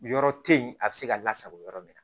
Yɔrɔ te yen a be se ka lasago yɔrɔ min